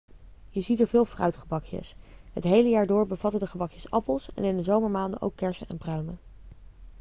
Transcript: je ziet er veel fruitgebakjes het hele jaar door bevatten de gebakjes appels en in de zomermaanden ook kersen en pruimen